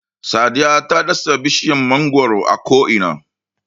Sadiya ta dasa bishiyar mangwaro a ko'ina.